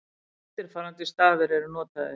Eftirfarandi stafir eru notaðir: